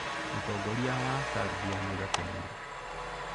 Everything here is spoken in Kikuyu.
Mũtongoria wa Serbia nĩ Gakenia.